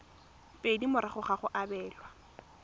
pedi morago ga go abelwa